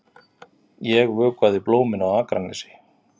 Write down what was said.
Ég vökvaði blómin á Akranesi.